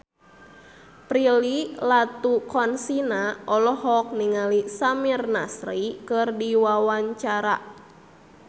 Prilly Latuconsina olohok ningali Samir Nasri keur diwawancara